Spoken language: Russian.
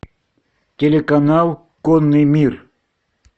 телеканал конный мир